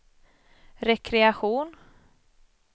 rekreation